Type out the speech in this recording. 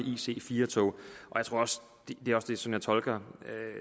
ic4 tog som jeg tolker